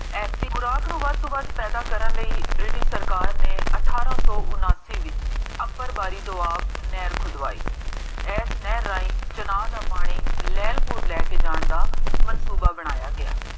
ਐਸੀ ਗੁਰਾਕ ਨੂੰ ਪੈਦਾ ਕਰਨ ਲਈ British ਸਰਕਾਰ ਨੇ ਅਠਾਰਾਂ ਸੋ ਉਨਾਸੀ ਵਿਚ upper ਬਾੜੀ ਤੋਂ ਆਪ ਨਹਰ ਖੁਦਵਾਈ ਇਸ ਨਹਰ ਰਾਹੀਂ ਚੁਨਾਰ ਦਾ ਪਾਣੀ ਲਹਰ ਕੋਲ ਲੈ ਕੇ ਜਾਨ ਦਾ ਮਾਸ੍ਤੂਬਾ ਬਣਾਇਆ ਗਿਆ